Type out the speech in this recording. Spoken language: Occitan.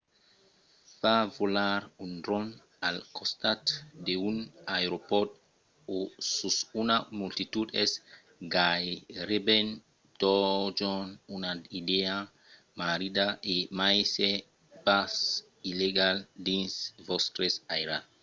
fa volar un dròn al costat d'un aeropòrt o sus una multitud es gaireben totjorn una idèa marrida e mai s’es pas illegal dins vòstre airal